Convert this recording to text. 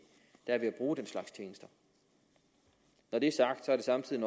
der er ved at bruge den slags tjenester når det er sagt er det samtidig